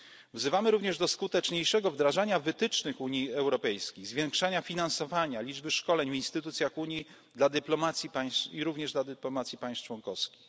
Wzywamy również do skuteczniejszego wdrażania wytycznych Unii Europejskiej, zwiększenia finansowania, liczby szkoleń w instytucjach Unii dla dyplomacji państw i również dla dyplomacji państw członkowskich.